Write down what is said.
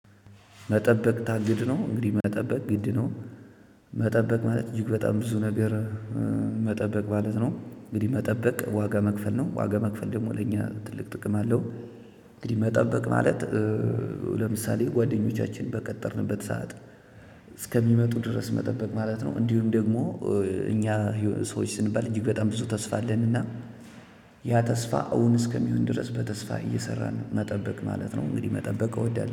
መጠበቅ ታግድ ነው እንግዲህ መጠበቅ ግድ ነው። መጠበቅ ማለት እጅግ በጣም ብዙ ነገር። መጠበቅ ማለት ነው እንግዲህ መጠበቅ ዋጋ መክፈል ነው። ዋጋ መክፈል ደግሞ ለኛ ትልቅ ጥቅም አለው። እንግዲህ መጠበቅ ማለት። ለምሳሌ ጓደኞቻችን በቀጠርንበት ሰዓት እስከሚመጡ ድረስ መጠበቅ ማለት ነው። እንዲሁም ደግሞ። እኛ ሰዎች ስንባል እጅግ በጣም ብዙ ተስፋ አለንና። ያ ተስፋ እውን እስከሚሆን ድረስ በተስፋ እየሰራን መጠበቅ ማለት ነው። እንግዲህ መጠበቅ እወዳለሁ